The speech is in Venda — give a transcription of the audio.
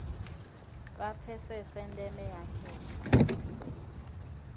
vha pfesese ndeme ya kheshe